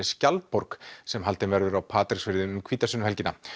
skjaldborg sem haldin verður á Patreksfirði um hvítasunnuhelgina